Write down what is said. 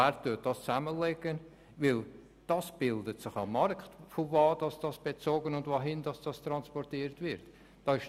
Von wo was bezogen und wohin was transportiert wird, bildet sich am Markt.